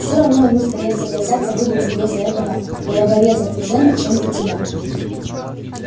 всё равно они скорее согласятся выдать её за этого головореза-кузена чем за тебя